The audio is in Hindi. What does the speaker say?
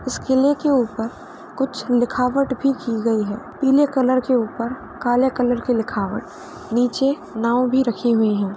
इस किले के ऊपर कुछ लिखावट भी की गयी है। पीले कलर के ऊपर काले कलर की लिखावट नीचे नाव भी रखी हुई है।